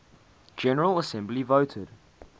general assembly voted